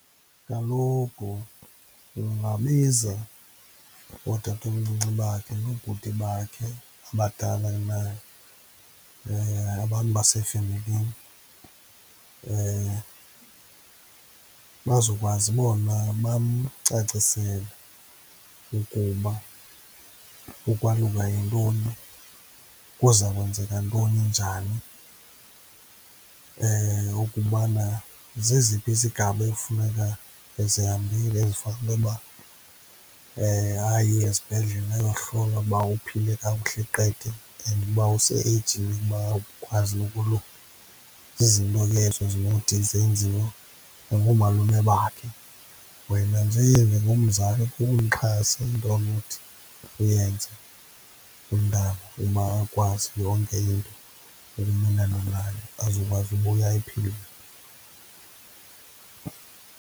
Kaloku ungabiza ootatomncinci bakhe noobhuti bakhe abadala kunaye, abantu basefemilini, bazokwazi bona uba bamcacisele ukuba ukwaluka yintoni, kuza kwenzeka ntoni njani, ukubana zeziphi izigaba ekufuneka ezihambile as for intoba aye esibhedlele ayohlola ukuba uphile kakuhle qete and uba use-eyijini yokuba akwazi ukoluka. Zizinto ke ezo ezinothi zenziwe nangoomalume bakhe. Wena nje njengomzali kukumxhasa into onothi uyenze umntana ukuba akwazi yonke into ukumelana nayo, azokwazi ubuya ephilile.